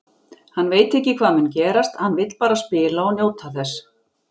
Hann veit ekki hvað mun gerast, hann vill bara spila og njóta þess.